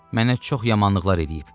Mənə çox yamanlıqlar eləyib.